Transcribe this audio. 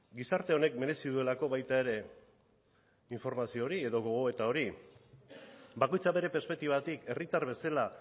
gizarte honek merezi duelako baita ere informazio hori edo gogoeta hori bakoitzak bere perspektibatik herritar bezala